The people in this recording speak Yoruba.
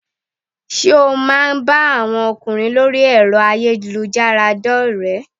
Sé o má a ń bá àwọn ọkùnrin lórí ẹ̀rọ ayélujára dórèé?